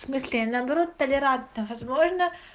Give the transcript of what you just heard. в смысле наоборот толерантно возможно